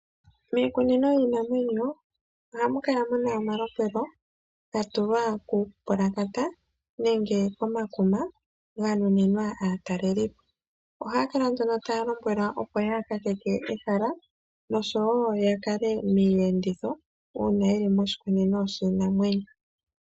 Miikunino yiinamwenyo ohamu kala muna omalombwelo gatulwa kuupulakata nenge komakuma ganuninwa aatalelipo, ohaakala nduno taa lombwelwa opo yaakakeke ehala noshwo yaazemo miiyenditho yawo uuna yeli moshikunino shiinamwenyo.